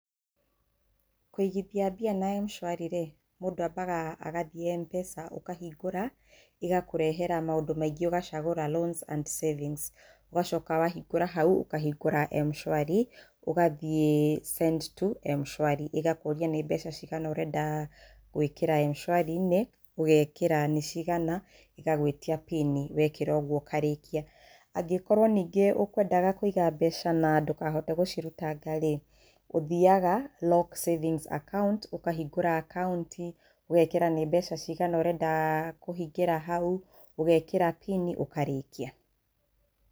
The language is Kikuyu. Kũigithia mbia na M-Shwari rĩ, mũndũ ambaga agathiĩ M-Pesa ũkahingũra, ĩgakũrehera maũndũ maingĩ ũgacagũra loans and savings, ũgacoka wahingũra hau, ũkahingũra M-Shwari, ũgathiĩ send to M-Shwari, ĩgakũria nĩ mbeca cigana ũrenda gwĩkĩra M-Shwari inĩ, ũgekĩra nĩ cigana, ĩgagwĩtia Pin wekĩra ũguo ũkarĩkia.‎ Angĩkorwo ningĩ ũkwendaga kũiga mbeca na ndũkahote gũcirutanga rĩ, ũthiaga lock savings account ũkahingũra akaunti, ũgekĩra nĩ mbeca cigana ũrenda kũhingĩra hau, ũgekĩra Pin ũkarĩkia